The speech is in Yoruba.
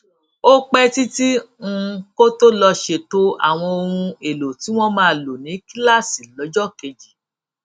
ó pé títí um kó tó lọ ṣètò àwọn ohun èlò tí wón máa lò ní kíláàsì lójó kejì